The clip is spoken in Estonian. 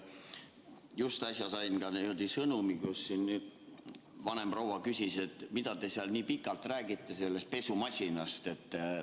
Just äsja sain sõnumi, üks vanem proua küsis, et mida te seal nii pikalt räägite sellest pesumasinast.